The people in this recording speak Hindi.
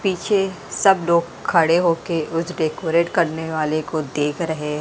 पीछे सब लोग खड़े होके उस डेकोरेट करने वाले को देख रहे--